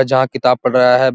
जहाँ किताब पढ़ रहा है।